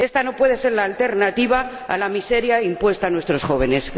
Esta no puede ser la alternativa a la miseria impuesta a nuestros jóvenes.